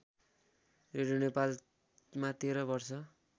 radio नेपालमा १३ वर्ष